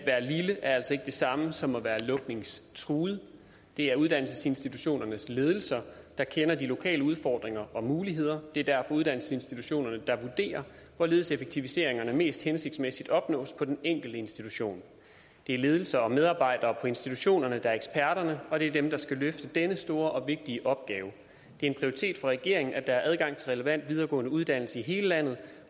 lille er altså ikke det samme som at være lukningstruet det er uddannelsesinstitutionernes ledelser der kender de lokale udfordringer og muligheder og det er derfor uddannelsesinstitutionerne der vurderer hvorledes effektiviseringerne mest hensigtsmæssigt opnås på den enkelte institution det er ledelse og medarbejdere på institutionerne der er eksperterne og det er dem der skal løfte denne store og vigtige opgave det er en prioritet for regeringen at der er adgang til relevant videregående uddannelse i hele landet